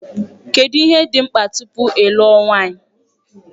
Kedụ ihe dị mkpa tupu ịlụ nwanyị?